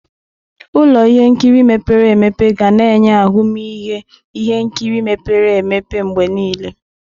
Ụlọ ihe nkiri mepere emepe ga na-enye ahụmịhe ihe nkiri mepere emepe mgbe niile.